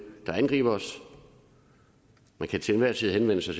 der angriber os man kan til enhver tid henvende sig